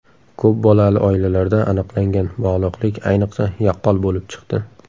Ko‘p bolali oilalarda aniqlangan bog‘liqlik ayniqsa yaqqol bo‘lib chiqdi.